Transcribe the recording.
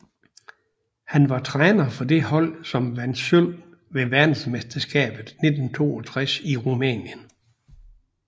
Han var træner for det hold som vandt sølv ved verdensmesterskabet 1962 i Rumænien